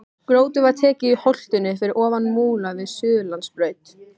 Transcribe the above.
Grjótið var tekið í holtinu fyrir ofan Múla við Suðurlandsbraut.